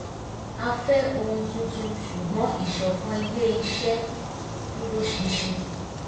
a fẹ́ ohun tuntun ṣùgbọ́n ìsọ̀kan ilé-iṣẹ́ dúró ṣinṣin